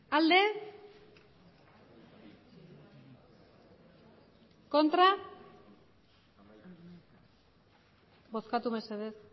bozkatu mesedez